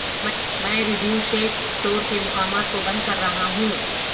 میں Radio Shack store کے مقامات کو بند کر رہا ہوں